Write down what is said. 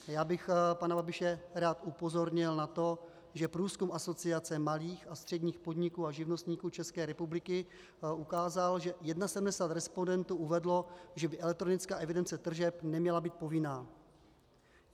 Já bych pana Babiše rád upozornil na to, že průzkum Asociace malých a středních podniků a živnostníků České republiky ukázal, že 71 respondentů uvedlo, že by elektronická evidence tržeb neměla být povinná.